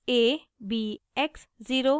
a b x zero